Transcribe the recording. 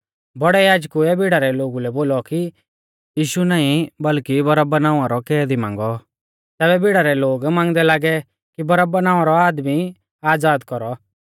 बौड़ै याजकुऐ भीड़ा रै लोगु लै बोलौ कि यीशु नाईं बल्कि बरअब्बा नावां रौ कैदी मांगौ तैबै भीड़ा रै लोग मांगदै लागै कि बरअब्बा नावां रौ आदमी आज़ाद कौरौ